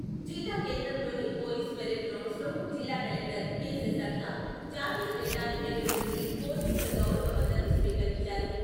జిల్లా కేంద్రం లోని పోలీస్ పరేడ్ గ్రౌండ్స్ లో జిల్లా కలెక్టర్ కె.శశాంక జాతీయ జెండాను ఎగురవేసి పోలీసుల గౌరవ వందనం స్వీకరించారు.